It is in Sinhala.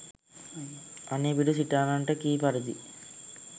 අනෙපිඬු සිටානන්ට කී පරිදි